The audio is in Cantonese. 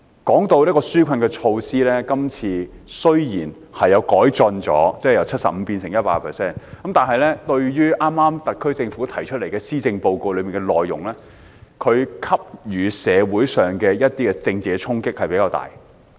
談到紓困措施，今次雖然有改進，稅務寬免由 75% 提升至 100%， 但與特區政府剛公布的施政報告內容相比，施政報告給予社會的政治衝擊比較大。